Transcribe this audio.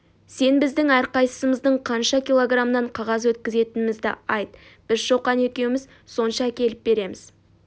сен біздің әрқайсымыздың қанша килограммнан қағаз өткізетінімізді айт біз шоқан екеуіміз сонша әкеліп береміз